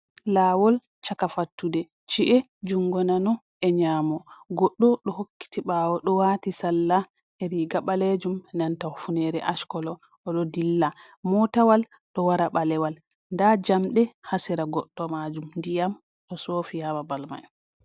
Lawol chaka fattude chi’e jungo nano e nyamo goɗɗo ɗo hokkiti ɓawo ɗo wati sarla e riga ɓalejum nanta hufnere as colo oɗo dilla motawal ɗo wara ɓalewal nda jamdɗe ha sera goɗɗo majum ndiyam ɗo sofi ha babal mai.